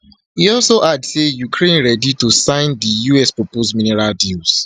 e also add say ukraine ready to sign di usproposed minerals deal